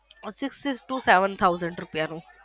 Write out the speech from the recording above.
to seven thousand રૂપિયા નું.